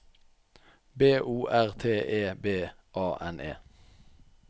B O R T E B A N E